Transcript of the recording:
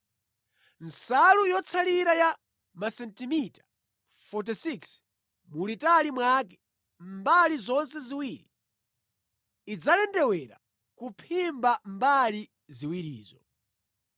Nsalu yotsalira ya masentimita 46 mulitali mwake mʼmbali zonse ziwiri idzalendewere kuphimba mbali ziwirizo.